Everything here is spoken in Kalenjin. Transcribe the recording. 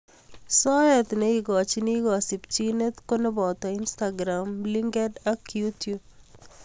soet neigochiin kasimchineet ko nepotoo inistakiram, Linkediln ak yutub